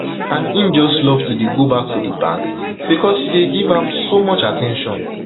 and im just love to dey go back to di bank becos she give am so much at ten tion